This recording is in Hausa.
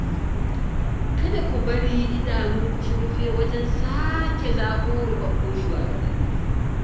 Kada ku bari idanunku su rufe wajen sake zaɓo ruɓaɓɓun shugabanni